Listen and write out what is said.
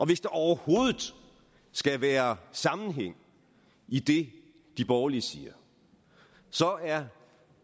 hvis der overhovedet skal være sammenhæng i det de borgerlige siger er